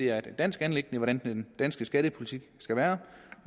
er et dansk anliggende hvordan den danske skattepolitik skal være